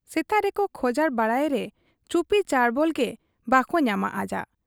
ᱥᱮᱛᱟᱜ ᱨᱮᱠᱚ ᱠᱷᱚᱡᱟᱨ ᱵᱟᱲᱟᱭᱮᱨᱮ ᱪᱩᱯᱤ ᱪᱟᱸᱰᱵᱚᱞ ᱜᱮ ᱵᱟᱠᱚ ᱧᱟᱢᱟ ᱟᱡᱟᱜ ᱾